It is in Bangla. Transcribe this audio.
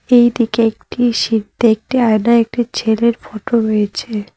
এই দিকে একটি সিদ একটি আয়নায় একটি ছেলের ফটো রয়েছে।